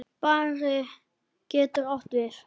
Barði getur átt við